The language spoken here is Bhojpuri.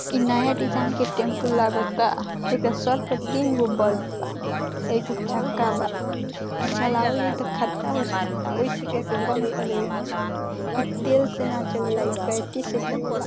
इ नया डिज़ाइन के टेम्पो लागता एकर सर पर तीनगो बल्ब बा एगो चक्का बा इ चलावल जाइ तो खतरा हो सकता वही से एकरा बंद कर देवे के चाही इ तेल से न चलेला बैटरी से चलेला।